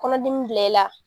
Kɔnɔdimi bila i la